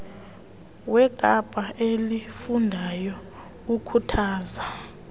wekapa elifundayo ukhuthaza